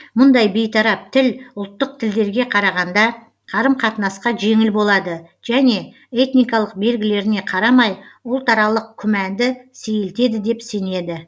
мұндай бейтарап тіл ұлттық тілдерге қарағанда қарым қатынасқа жеңіл болады және этникалық белгілеріне қарамай ұлтаралық күмәнды сейілтеді деп сенеді